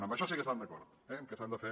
en això sí que estan d’acord eh en que s’han de fer